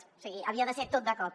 o sigui havia de ser tot de cop